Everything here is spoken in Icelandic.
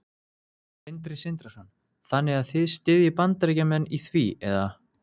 Sindri Sindrason: Þannig að þið styðjið Bandaríkjamenn í því eða?